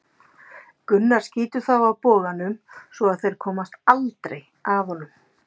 Gunnar skýtur þá af boganum svo að þeir komast aldrei að honum.